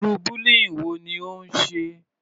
Irú bullying wo ni ó ń ṣe?